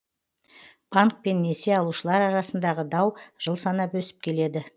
банк пен несие алушылар арасындағы дау жыл санап өсіп келеді